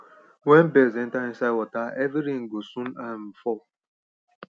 wen birds enter inside waterheavy rain go soon um fall